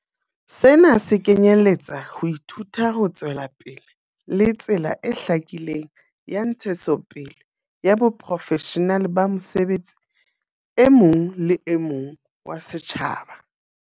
Sena se kenyeletsa ho ithuta ho tswelapele le tsela e hlakileng ya ntshetsopele ya boprofeshenale ba mosebetsi e mong le mong wa setjhaba.